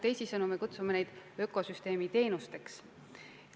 Teisisõnu võib neid kutsuda ökosüsteemi teenusteks.